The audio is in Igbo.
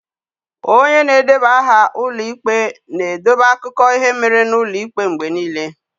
Onye na-edeba aha ụlọ ikpe na-edobe akụkọ ihe mere n'ụlọ ikpe n'mgbe niile.